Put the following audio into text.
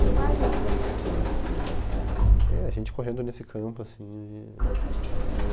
Que imagem que você tem, assim, dessa... É, a gente correndo nesse campo, assim e, de eu